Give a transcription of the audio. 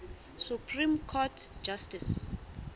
supreme court justice